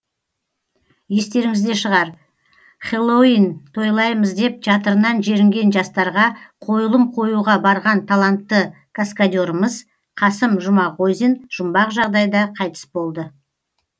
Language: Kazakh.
естеріңізде шығар хэллоуин тойлаймыз деп жатырынан жерінген жастарға қойылым қоюға барған талантты каскадерымыз қасым жұмағозин жұмбақ жағдайда қайтыс болды